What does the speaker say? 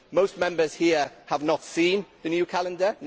Most Members here have not seen the new calendar.